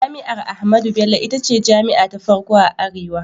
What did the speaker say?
Jami'ar Ahmadu Bello ita ce jami'a ta farko a arewa.